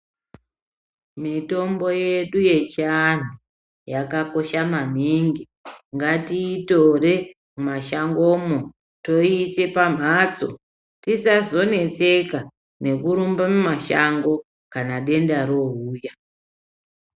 Mitombo yedu yechiandu yakakosha maningi , ngatiitore mumashango umwo toiise pamhatso tisazonetseka nekurumba mumashango kana denda rouya.